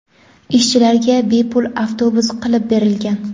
Ishchilarga bepul avtobus qilib berilgan.